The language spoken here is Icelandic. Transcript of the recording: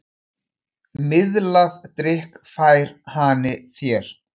Miðlað drykk fær hani þér.